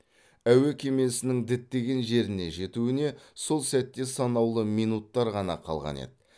әуе кемесінің діттеген жеріне жетуіне сол сәтте санаулы минуттар ғана қалған еді